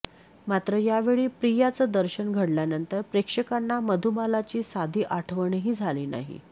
मात्र यावेळी प्रियाचं दर्शन घडल्यानंतर प्रेक्षकांना मधुबालाची साधी आठवणही झाली नाही